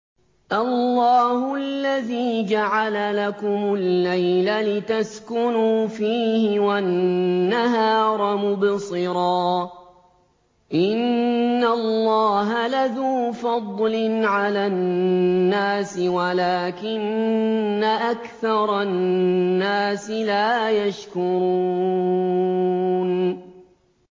اللَّهُ الَّذِي جَعَلَ لَكُمُ اللَّيْلَ لِتَسْكُنُوا فِيهِ وَالنَّهَارَ مُبْصِرًا ۚ إِنَّ اللَّهَ لَذُو فَضْلٍ عَلَى النَّاسِ وَلَٰكِنَّ أَكْثَرَ النَّاسِ لَا يَشْكُرُونَ